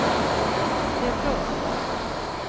defrost